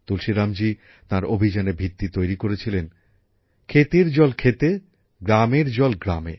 তুলসীরামজী তাঁর অভিযানের ভিত্তি তৈরি করেছিলেন ক্ষেতের জল ক্ষেতে গ্রামের জল গ্রামে